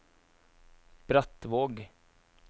Brattvåg